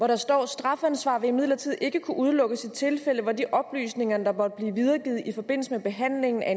der står at strafansvar vil imidlertid ikke kunne udelukkes i tilfælde hvor de oplysninger der måtte blive videregivet i forbindelse med behandlingen af